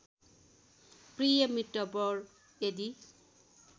प्रिय मित्रवर यदि